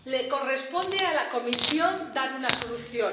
Le corresponde a la Comisión dar una solución.